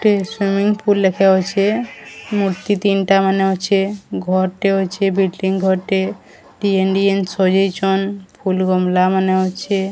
ଟେ swimming pool ଲେଖେ ଅଛେ ମୂର୍ତ୍ତି ତିନିଟା ମାନେ ଅଛେ ଘରର୍ ଟେ ଅଛୈ ବିଲଡିଂ ଘରା ଟେ ଟି_ଏନ୍ ଡି_ଏନ୍ ସଜେଇଚନ୍ ଫୁଲ୍ ଗମ୍ଲାମାନେ ଅଛେ।